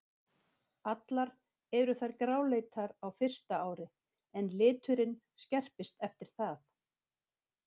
Allar eru þær gráleitar á fyrsta ári en liturinn skerpist eftir það.